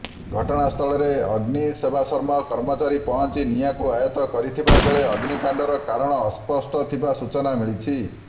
ଘଟଣାସ୍ଥଳରେ ଅଗ୍ନିସେବାଶ୍ରମ କର୍ମଚାରି ପହଞ୍ଚି ନିଆଁକୁ ଆୟତ କରିଥିବା ବେଳେ ଅଗ୍ନିକାଣ୍ଡର କାରଣ ଅସ୍ପଷ୍ଟ ଥିବା ସୂଚନା ମିଳିଛି